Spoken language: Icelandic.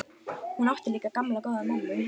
Hún átti líka gamla, góða mömmu.